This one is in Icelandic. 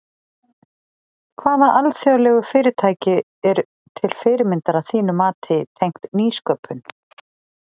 Hvaða alþjóðlegu fyrirtæki eru til fyrirmyndar að þínu mati tengt nýsköpun?